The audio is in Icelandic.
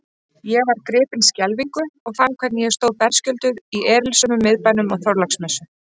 Ég var gripin skelfingu og fann hvernig ég stóð berskjölduð í erilsömum miðbænum á Þorláksmessu.